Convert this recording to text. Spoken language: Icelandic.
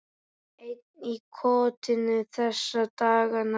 Einn í kotinu þessa dagana.